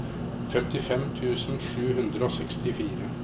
femtifem tusen sju hundre og sekstifire